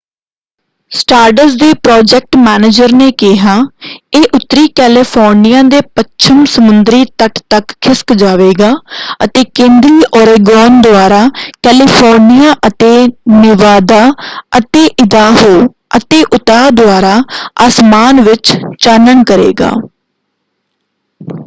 ਸਟਾਰਡਸ ਦੇ project manager ਨੇ ਕਿਹਾ ਇਹ ਉੱਤਰੀ ਕੈਲੀਫੋਰਨੀਆ ਦੇ ਪੱਛਮ ਸਮੁੰਦਰੀ ਤਟ ਤੱਕ ਖਿਸਕ ਜਾਵੇਗਾ ਅਤੇ ਕੇਂਦਰੀ ਓਰੇਗੋਨ ਦੁਆਰਾ ਕੈਲੀਫੋਰਨੀਆ ਅਤੇ ਨੇਵਾਦਾ ਅਤੇ ਇਦਾਹੋ ਅਤੇ ਉਤਾਹ ਦੁਆਰਾ ਆਸਮਾਨ ਵਿੱਚ ਚਾਨਣ ਕਰੇਗਾ।